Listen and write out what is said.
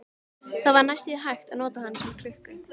Það var næstum því hægt að nota hana sem klukku.